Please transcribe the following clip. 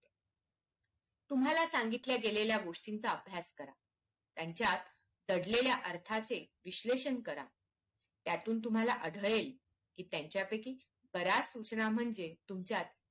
तुम्हाला सांगितल्या गेलेल्या गोष्टींचा अभ्यास करा त्यांच्यात दडलेल्या अर्थाचे विश्लेषण करा त्यातून तुम्हाला आढळेल कि त्यांच्या पैकी बऱ्याच सूचना म्हणजे तुमच्यात